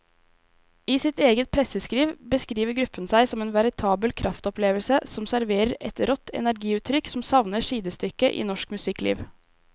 I sitt eget presseskriv beskriver gruppen seg som en veritabel kraftopplevelse som serverer et rått energiutrykk som savner sidestykke i norsk musikkliv.